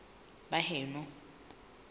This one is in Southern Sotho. baheno